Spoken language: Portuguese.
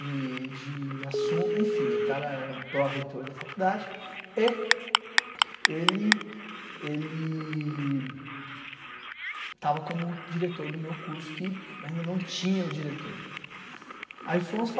de de. Enfim, o cara era um pró-retor da faculdade e ele ele estava como diretor do meu curso, que ainda não tinha o diretor. Ai fomos